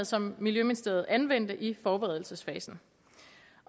som miljøministeriet anvendte i forberedelsesfasen